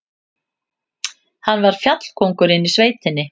Hann var fjallkóngurinn í sveitinni.